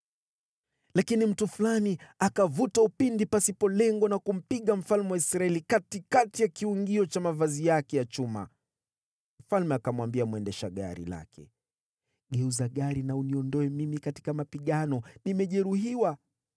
Lakini mtu fulani akavuta upinde pasipo lengo na kumpiga mfalme wa Israeli katikati ya kiungio cha mavazi yake ya chuma. Mfalme akamwambia mwendesha gari lake, “Geuza gari na uniondoe mimi katika mapigano, nimejeruhiwa.”